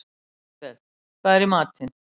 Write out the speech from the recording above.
Lisbeth, hvað er í matinn?